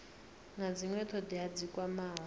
na dzinwe thodea dzi kwamaho